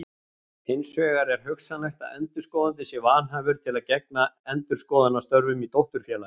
Hins vegar er hugsanlegt að endurskoðandi sé vanhæfur til að gegna endurskoðunarstörfum í dótturfélagi.